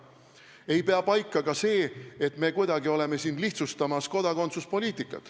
Ei pea paika ka see, et me kuidagi lihtsustame kodakondsuspoliitikat.